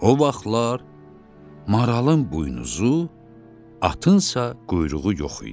O vaxtlar maralın buynuzu, atınsa quyruğu yox idi.